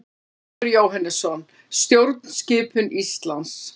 Ólafur Jóhannesson: Stjórnskipun Íslands.